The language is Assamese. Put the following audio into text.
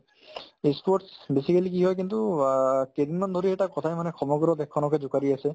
ই sports basically কি হয় কিন্তু অ কেইদিনমান ধৰি এটা কথাই মানে সমগ্ৰ দেশখনকে জোকাৰি আছে